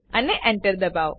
અને એન્ટર દબાઓ